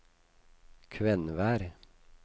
Kvenvær